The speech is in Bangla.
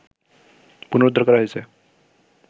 পুনরুদ্ধার করা হয়েছে